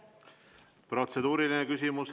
Protseduuriline küsimus.